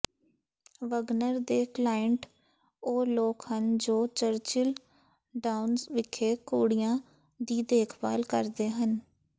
Wagner ਦੇ client ਉਹ ਲੋਕ ਹਨ ਜੋ ਚਰਚਿਲ ਡਾਊਨਸ ਵਿਖੇ ਘੋੜਿਆਂ ਦੀ ਦੇਖਭਾਲ ਕਰਦੇ ਹਨ